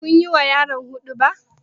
Kun yi ma yaron huɗuba?